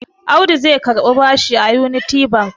Audu zai karbi bashi a Union Bank.